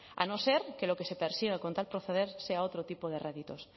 a no ser que lo que se persiga con tal proceder sea otro tipo de réditos